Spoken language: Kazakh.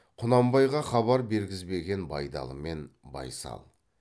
құнанбайға хабар бергізбеген байдалы мен байсал